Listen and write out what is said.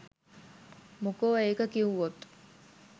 මොකෝ ඒක කිව්වොත්